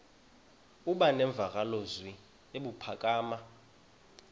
aba nemvakalozwi ebuphakama